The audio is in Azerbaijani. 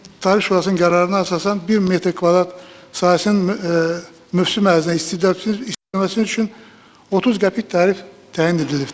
Tarif Şurasının qərarına əsasən 1 metr kvadrat sahəsinin mövsüm ərzində istifadə edilməsi üçün 30 qəpik tarif təyin edilibdir.